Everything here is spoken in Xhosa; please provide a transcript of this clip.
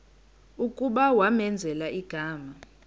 kuba kwamenzela igama